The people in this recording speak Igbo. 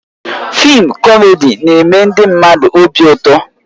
Fịịm kọmedi na-eme ndị mmadụ obi ụtọ